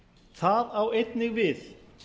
það á einnig við